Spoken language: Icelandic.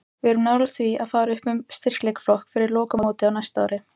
Við erum nálægt því að fara upp um styrkleikaflokk fyrir lokamótið á næsta ári.